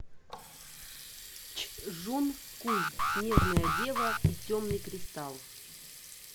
чжун куй снежная дева и темный кристалл